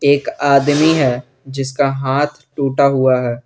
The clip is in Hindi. एक आदमी है जिसका हाथ टूटा हुआ है।